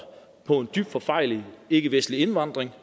på en dybt forfejlet ikkevestlig indvandring